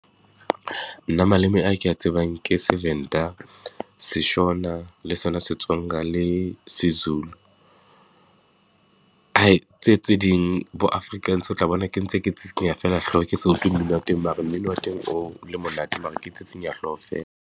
Nna maleme a ke a tsebang ke seVenda, seShona le sona seTsonga le seZulu, tse tse ding bo Afrikaans, o tla bona ke ntse ke tsitsinya feela hloho, ke sa utlwe mmino teng. Mare mmino wa teng o le monate, mare ke tsitsinya hloho feela.